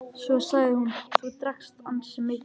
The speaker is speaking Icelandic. Svo sagði hún:-Þú drakkst ansi mikið.